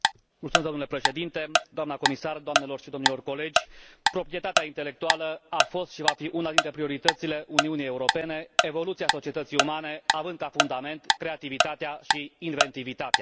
Domnule Președinte, doamnă comisar, doamnelor și domnilor colegi, proprietatea intelectuală a fost și va fi una dintre prioritățile Uniunii Europene, evoluția societății umane având ca fundament creativitatea și inventivitatea.